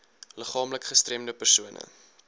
liggaamlik gestremde persone